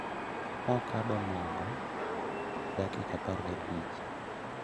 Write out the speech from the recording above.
Nokando mogo e dakika apar gabich